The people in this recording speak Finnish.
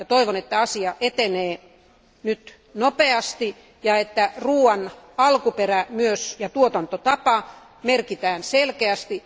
Toivon, että asia etenee nyt nopeasti ja että ruoan alkuperä ja myös tuotantotapa merkitään selkeästi.